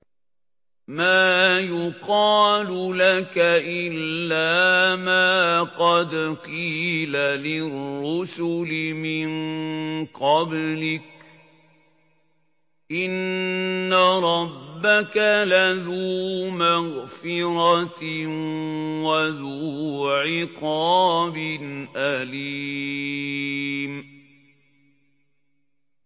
مَّا يُقَالُ لَكَ إِلَّا مَا قَدْ قِيلَ لِلرُّسُلِ مِن قَبْلِكَ ۚ إِنَّ رَبَّكَ لَذُو مَغْفِرَةٍ وَذُو عِقَابٍ أَلِيمٍ